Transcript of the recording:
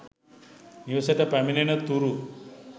නිවෙසට පැමිණෙනතුරු